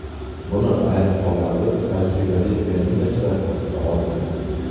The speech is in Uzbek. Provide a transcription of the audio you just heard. Buni ayrim hollarda tajribali pianinochilar ham qila olmaydi.